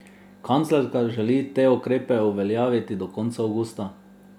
Kanclerka želi te ukrepe uveljaviti do konca avgusta.